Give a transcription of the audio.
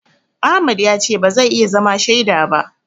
Ahmad ya ce ba zai iya zama shaida ba.